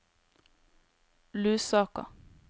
Lusaka